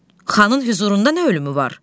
Xanın hüzurunda nə ölümü var?